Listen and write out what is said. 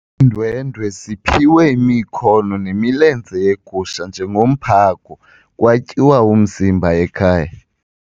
Iindwendwe ziphiwe imikhono nemilenze yegusha njengomphako kwatyiwa umzimba ekhaya.